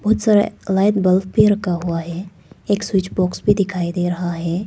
बहुत सारा light bulb भी रखा हुआ हैं एक स्विच बॉक्स भी दिखाई दे रहा है।